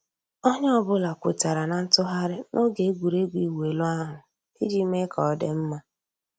Ònyè ọ̀ bula kwètàrárà nà ntụ̀ghàrì n'ògè ègwurégwụ̀ ị̀wụ̀ èlù ahu íjì mée kà ọ̀ dị mma.